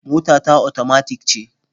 Mota ta otomatik ce.